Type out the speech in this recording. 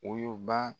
Woyoba